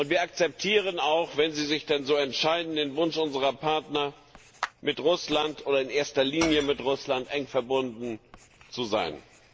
Und wir akzeptieren auch wenn sie sich denn so entscheiden den Wunsch unserer Partner, mit Russland oder in erster Linie mit Russland eng verbunden zu sein.